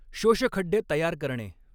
शोषखड्डे तयार करणे